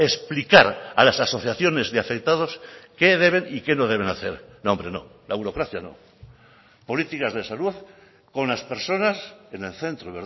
explicar a las asociaciones de afectados qué deben y qué no deben hacer no hombre no la burocracia no políticas de salud con las personas en el centro